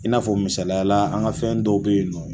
I n'a fɔ misalayala an ka fɛn dɔw bɛ ye nɔ